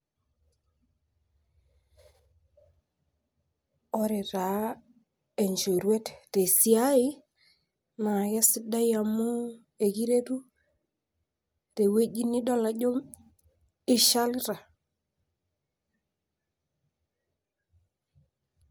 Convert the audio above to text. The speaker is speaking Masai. ore taa enchoruet te siai, naa kesidai amuu ekiretu te wueji nidol ajo eishalita.